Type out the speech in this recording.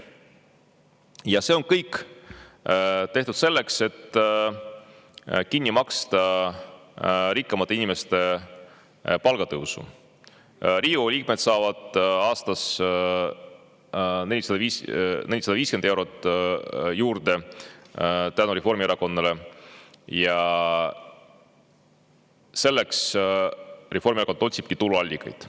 Ja see on kõik tehtud selleks, et kinni maksta rikkamate inimeste palgatõusu – Riigikogu liikmed saavad aastas 450 eurot juurde tänu Reformierakonnale –, ja selleks Reformierakond otsibki tuluallikaid.